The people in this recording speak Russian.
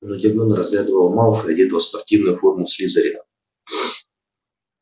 он удивлённо разглядывал малфоя одетого в спортивную форму слизерина